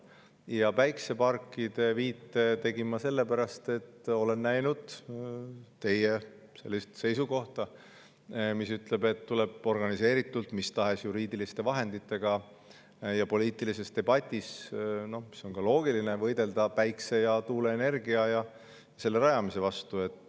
Ja päikeseparkidele tegin ma viite sellepärast, et olen näinud teie seisukohta, et tuleb organiseeritult mis tahes juriidiliste vahenditega ja poliitilises debatis – see on ka loogiline – võidelda päikese‑ ja tuuleenergia ja vastu.